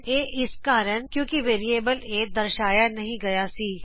ਇਹ ਇਸ ਕਾਰਨ ਕਿਉਕਿ ਵੇਰਿਏਬਲ a ਦਰਸ਼ਾਇਆ ਨਹੀ ਗਈਆ ਸੀ